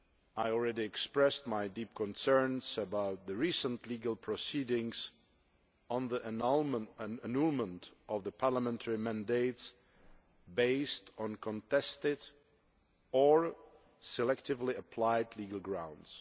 I already expressed my deep concerns about the recent legal proceedings on the annulment of parliamentary mandates based on contested or selectively applied legal grounds.